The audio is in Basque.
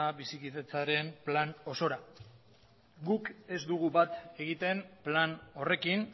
bizikidetzaren plan osora guk ez dugu bat egiten plan horrekin